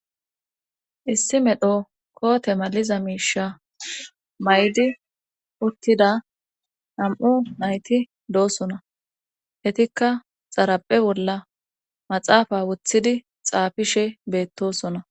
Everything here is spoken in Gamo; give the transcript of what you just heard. Issi medho koote maliza miisha maydi uttida nam7u nayti doosona etikka xaraphe bolla maxaafa wothidi xaafishe beettosona.